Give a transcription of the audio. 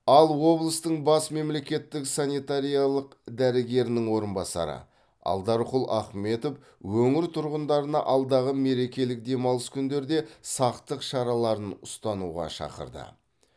ал облыстың бас мемлекеттік санитариялық дәрігерінің орынбасары алдарқұл ахметов өңір тұрғындарына алдағы мерекелік демалыс күндерде сақтық шараларын ұстануға шақырды